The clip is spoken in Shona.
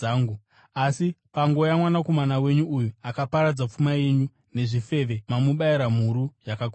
Asi pangouya mwanakomana wenyu uyu, akaparadza pfuma yenyu nezvifeve, mamubayira mhuru yakakodzwa!’